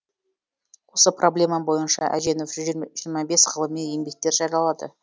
осы проблема бойынша әженова жүз жиырма бес ғылыми еңбектер жариялады